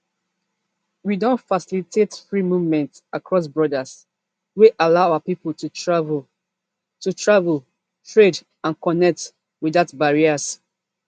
we don facilitate free movement across borders wey allow our pipo to travel to travel trade and connect without barriers